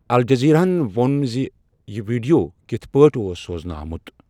Al Jazeera ہن وون زِ یہِ ویٖڈِیو کِتھ پٲٹھۍ اوس سوزنہٕ آمُت۔